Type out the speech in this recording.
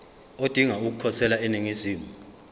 odinga ukukhosela eningizimu